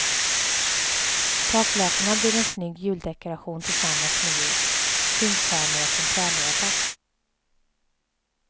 Taklökarna blir en snygg juldekaration tillsammans med ljus, zinkstjärnor och en trälåda.